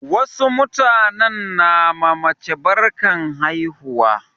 Wasu mutanen na ma mace barkan haihuwa.